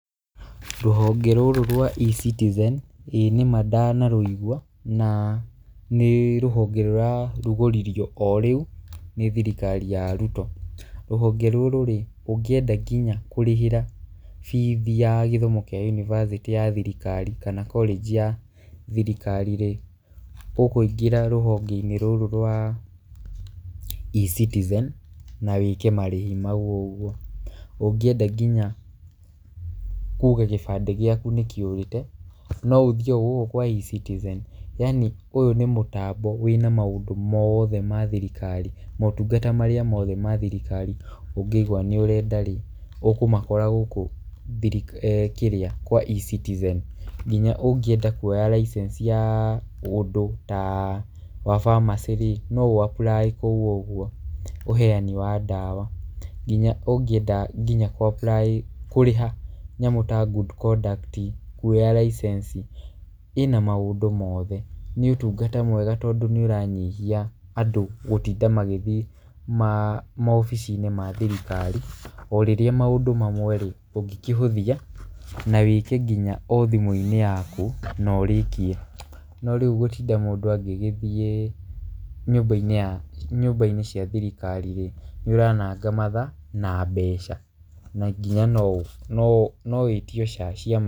Rũhonge rũrũ rwa E-Citizen ĩĩ nĩma ndanarũigwa na nĩ rũhonge rũrarugũririo o rĩu nĩ thirikari ya Ruto. Rũhonge rũrũ rĩ, ũngĩenda nginya kũrĩhĩra fees ya gĩthomo kĩa yunivasĩtĩ ya thirikari kana college ya thirikari rĩ, ũkũingĩra rũhonge-inĩ rũrũ rwa E-Citizen na wĩke marĩhi mau ũguo. Ũngienda nginya kuga gĩbandĩ gĩaku nĩ kĩũrĩte no ũthiĩ o gũkũ kwa E-Citizen. Yaani ũyũ nĩ mũtambo wĩna maũndũ mothe ma thirikari. Motungata marĩa mothe ma thirikari ũngĩigua nĩ ũrenda rĩ, ũkũmakora gũkũ kĩrĩa kwa E-Citizen. Nginya ũngĩenda kuoya licence ya ũndũ ta wa pharmacy rĩ, no ũ apply kũu ũguo ũheani wa ndawa. Nginya ũngĩenda nginya kũrĩha nyamũ ta good conduct, kuoya licence, ĩna maũndũ mothe. Nĩ ũtungata mwega tondũ nĩ ũranyihia andũ gũtinda magĩthiĩ mawabici-inĩ ma thirikari, o rĩrĩa maũndũ mamwe rĩ ũngĩkĩhũthia na wĩke nginya o thimũ-inĩ yaku na ũrĩkie. No rĩu gũtinda mũndũ agĩgĩthiĩ nyũmba-inĩ cia thirikari rĩ, nĩ ũrananga mathaa na mbeca. Na nginya no wĩtio cia...